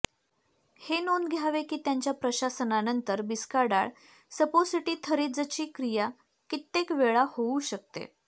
हे नोंद घ्यावे की त्यांच्या प्रशासनानंतर बिस्काडाल सपोसिटिथरीजची क्रिया कित्येक वेळा होऊ शकते